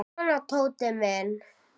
Svona, Tóti minn.